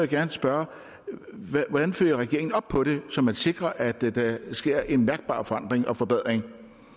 gerne spørge hvordan følger regeringen op på det så man sikrer at der der sker en mærkbar forandring og forbedring